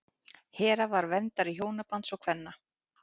hera var verndari hjónabands og kvenna